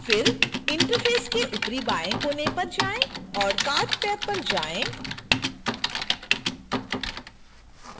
फिर interface के ऊपरी बाएं कोने पर जाएँ और cart टैब पर जाएँ